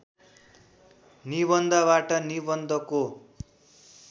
निबन्धबाट निबन्धको